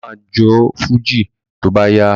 Bàbá ma jó fújì tó bá yá